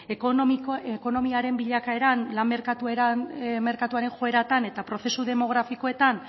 ekonomiaren bilakaeran lan merkatuaren joeretan eta prozesu demografikoetan